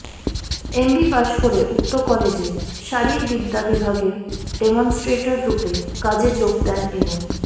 MB পাশ করে উক্ত কলেজে শারীরবিদ্যা বিভাগের ডেমনস্ট্রেটাররূপে কাজে যোগ দেন এবং